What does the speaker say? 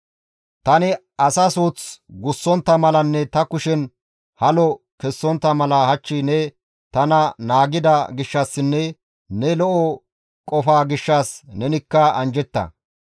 Tani asa suuth gussontta malanne ta kushen halo kessontta mala hach ne tana naagida gishshassinne ne lo7o qofaa gishshas nenikka anjjetta.